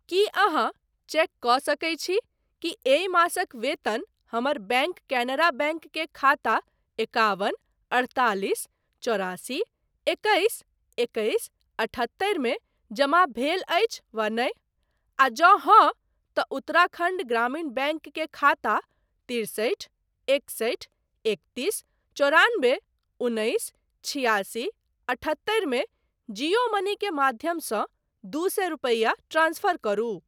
की अहाँ चेक कऽ सकैत छी कि एहि मासक वेतन हमर बैंक कैनरा बैंक के खाता एकाबन अड़तालिस चौरासी एकैस एकैस अठहत्तरि मे जमा भेल अछि वा नहि, आ जँ हाँ, तँ उत्तराखण्ड ग्रामीण बैंक के खाता तिरसठि एकसठि एकतीस चौरानबे उन्नैस छिआसी अठहत्तरि मे जियो मनी के माध्यमसँ दू सए रुपैया ट्रांसफर करू।